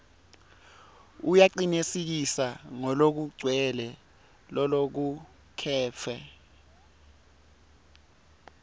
uyacinisekisa ngalokugcwele lolokucuketfwe